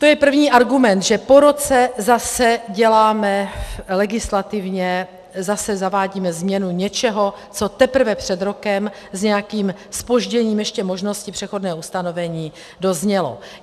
To je první argument, že po roce zase děláme legislativně - zase zavádíme změnu něčeho, co teprve před rokem s nějakým zpožděním ještě možnosti přechodného ustanovení doznělo.